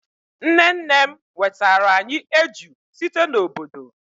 nne nnem wetara anyi eju site n'obodo